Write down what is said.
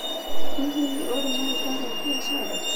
Hihi nĩ ũrĩ na rĩĩtwa rĩa biacara?